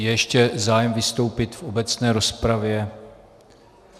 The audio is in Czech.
Je ještě zájem vystoupit v obecné rozpravě?